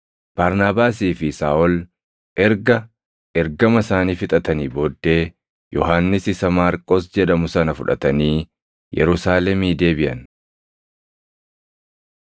Barnaabaasii fi Saaʼol erga ergama isaanii fixatanii booddee Yohannis isa Maarqos jedhamu sana fudhatanii Yerusaalemii deebiʼan.